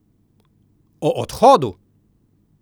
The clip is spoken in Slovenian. O odhodu!